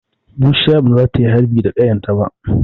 Bushiya ba za ta yi harbi da ƙayarta ba.